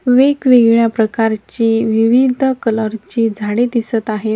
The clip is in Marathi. वेगवेगळ्या प्रकारची विविध कलरची झाडे दिसत आहे.